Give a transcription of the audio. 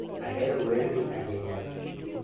ahero werni ahinya